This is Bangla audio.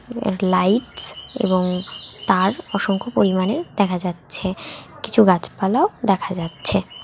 এডলাইটস এবং তার অসংখ্য পরিমাণে দেখা যাচ্ছে কিছু গাছপালাও দেখা যাচ্ছে।